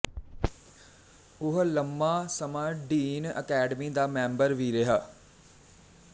ਉਹ ਲੰਮਾ ਸਮਾਂ ਡੀਨ ਅਕੈਡਮੀ ਦਾ ਮੈਂਬਰ ਵੀ ਰਿਹਾ